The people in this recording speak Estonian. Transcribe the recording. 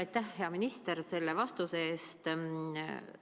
Aitäh, hea minister, selle vastuse eest!